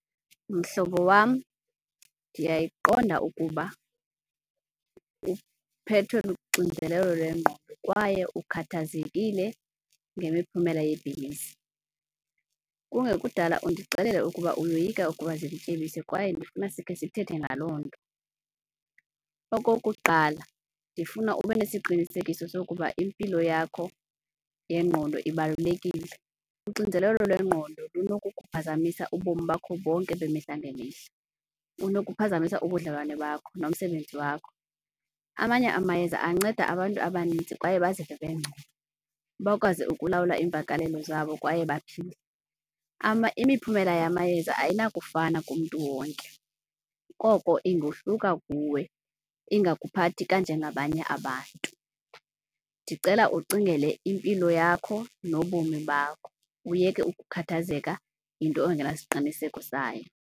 Mhlobo wam, ndiyayiqonda ukuba uphethwe luxinzelelo lwengqondo kwaye ukhathazekile ngemiphumela yebhizinisi. Kungekudala undixelela ukuba uyoyika ukuba kwaye ndifuna sikhe sithethe ngaloo nto. Okokuqala, ndifuna ube nesiqinisekiso sokuba impilo yakho yengqondo ibalulekile. Uxinzelelo lwengqondo lunokuba ukuphazamisa ubomi bakho bonke bemihla ngemihla, lunokuphazamisa ubudlelwane bakho nomsebenzi wakho. Amanye amayeza anceda abantu abaninzi kwaye bazive bengcono, bakwazi ukulawula iimvakalelo zabo kwaye baphile. Imiphumela yamayeza ayinakufana kumntu wonke, koko ingohluka kuwe ingakuphathi kanje ngabanye abantu. Ndicela ucingele impilo yakho nobomi bakho, uyeke ukukhathazeka yinto ongenasiqiniseko sayo.